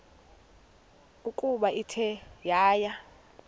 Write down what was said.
ukuba ithe yaya